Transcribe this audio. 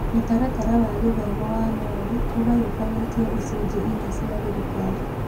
Mũtaratara wa gĩthomo wa MoE ũgayũkanĩtio icunjĩ inya cia thirikari.